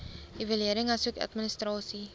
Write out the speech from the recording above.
evaluering asook administrasie